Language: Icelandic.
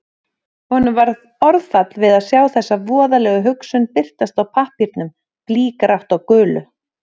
Honum varð orðfall við að sjá þessa voðalegu hugsun birtast á pappírnum, blýgrátt á gulu.